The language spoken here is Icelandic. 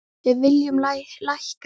Við viljum lækka álögur.